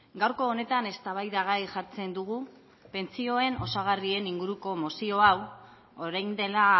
gaurko honetan eztabaidagai jartzen dugu pentsioen osagarrien inguruko mozio hau orain dela